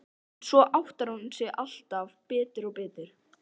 En svo áttar hún sig alltaf betur og betur.